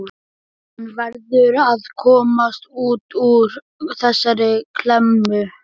Hann verður að komast út úr þessari klemmu.